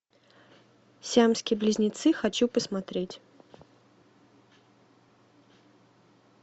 сиамские близнецы хочу посмотреть